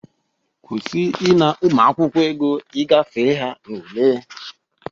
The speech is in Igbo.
Kwusie ịna ụmụakwụkwọ ego i gafe ha n'ule!